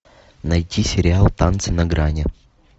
найти сериал танцы на грани